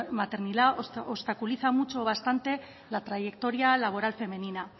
maternidad obstaculiza mucho o bastante la trayectoria laboral femenina